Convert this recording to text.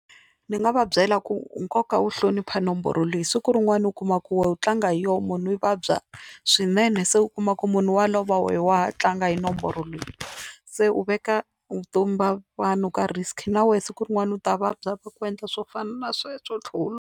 Ndzi nga va byela ku nkoka wo hlonipha nomboro leyi siku rin'wani u kuma ku wu tlanga hi yona munhu i vabya swinene, se u kuma ku munhu wa lova wehe wa tlanga hi nomboro leyi se u veka vutomi bya vanhu ka risk na wehe siku rin'wana u ta vabya va ku endla swo fana na sweswo lutla.